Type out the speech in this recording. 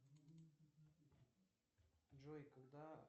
джой когда